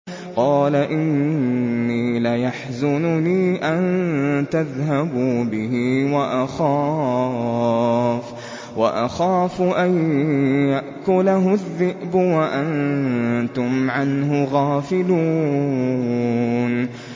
قَالَ إِنِّي لَيَحْزُنُنِي أَن تَذْهَبُوا بِهِ وَأَخَافُ أَن يَأْكُلَهُ الذِّئْبُ وَأَنتُمْ عَنْهُ غَافِلُونَ